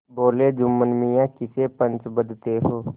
बोलेजुम्मन मियाँ किसे पंच बदते हो